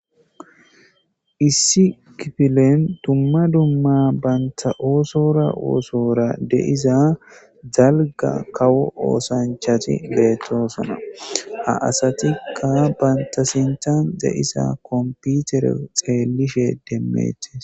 issi kifilen dumma dumma banta oosora oosora de7iza dalga kawo oosanchati beettoosana a asatikka banta sinthan deisa komputere xeellishe demmettes